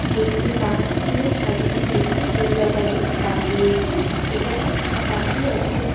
এটি বাঁশ দিয়ে সাজানো হয়েছে দুর্গাবাড়ি নাম দিয়েছে এখানে জাপি আছে।